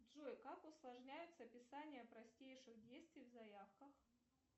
джой как усложняется писание простейших действий в заявках